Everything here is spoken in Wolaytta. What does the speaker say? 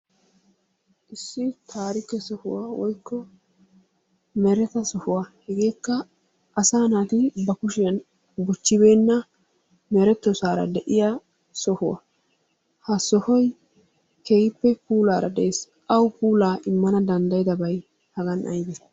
Issi taarike sohuwa woykko mereta sohuwa hegeekka asaa naati ba kushiyan buchchbeenna merettoosaara de'iya sohuwa. Ha sohoy keehippe puulaara dees. Awu puulaa immanaa danddayidabay hagaan aybee?